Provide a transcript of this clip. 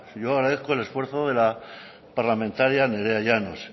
yo agradezco el esfuerzo de la parlamentaria nerea llanos